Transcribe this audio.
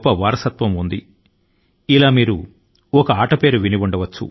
ఉదాహరణ కు పచీసీ అనే ఆట ను గురించి మీరు విని ఉండవచ్చు